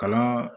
Kalan